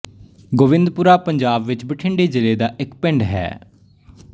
ਗੋਬਿੰਦਪੁਰਾ ਪੰਜਾਬ ਵਿੱਚ ਬਠਿੰਡੇ ਜ਼ਿਲ੍ਹੇ ਦਾ ਇੱਕ ਪਿੰਡ ਹੈ